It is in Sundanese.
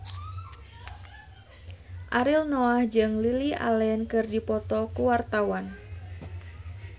Ariel Noah jeung Lily Allen keur dipoto ku wartawan